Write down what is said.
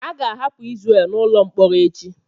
A ga-ahapụ Izrel n'ụlọ mkpọrọ echi.